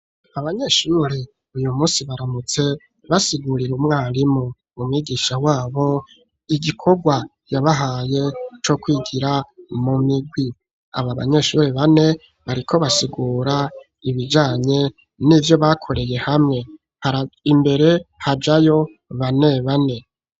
Abanyeshuri uyu musi baramutse basigurire umwarimu umwigisha wabo igikorwa yabahaye co kwigira mu mirwi aba banyeshuri bane bariko basigura ibijanye n'ivyo bakoreye hamwe imbere hajayo bane bane